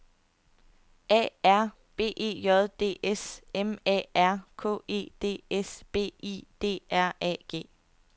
A R B E J D S M A R K E D S B I D R A G